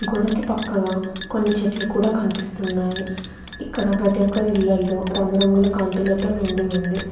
గోడకి పక్కగా కొన్ని చెట్లు కూడా కనిపిస్తున్నాయి ఇక్కడ ప్రతి ఓక్కరిళ్లల్లో రంగురంగుల కాంతులతో నిండి ఉంది.